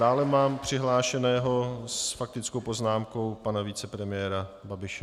Dále mám přihlášeného s faktickou poznámkou pana vicepremiéra Babiše.